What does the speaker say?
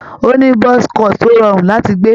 Ó ní buzz cut tó rọrùn láti gbé.